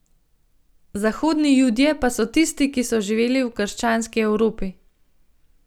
Zahodni judje pa so tisti, ki so živeli v krščanski Evropi.